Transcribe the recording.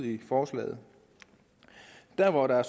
i forslaget der hvor der